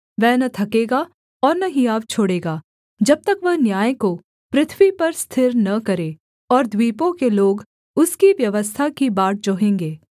वह न थकेगा और न हियाव छोड़ेगा जब तक वह न्याय को पृथ्वी पर स्थिर न करे और द्वीपों के लोग उसकी व्यवस्था की बाट जोहेंगे